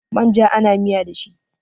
Manja ana miya da shi